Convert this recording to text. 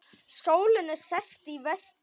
Sólin er sest, í vestri.